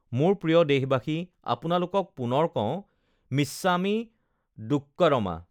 মোৰ প্ৰিয় দেশবাসী, আপোনালোকক পুনৰ কওঁ, মিচ্ছামী দুক্কড়ম!